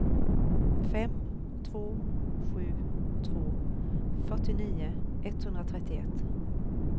fem två sju två fyrtionio etthundratrettioett